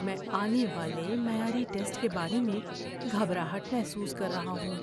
میں آنے والے معیاری ٹیسٹ کے بارے میں گھبراہٹ محسوس کر رہا ہوں۔